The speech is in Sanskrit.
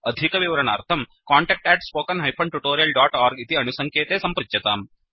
अधिकविवरणार्थं कान्टैक्ट् spoken tutorialorg इति अणुसङ्केते सम्पृच्यताम्